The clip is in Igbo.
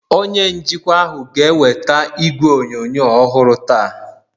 onye njikwa ahụ ga-eweta igwe onyonyo ọhụrụ taa